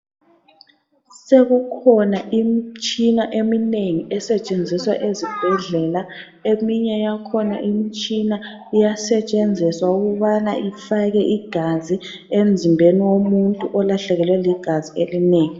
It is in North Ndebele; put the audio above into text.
Sekukhona imitshina eminengi esetshenziswa ezibhedlela eminye yakhona imitshina iyasetshenziswa ukubana ifake igazi emzimbeni womuntu olahlekelwe ligazi elinengi.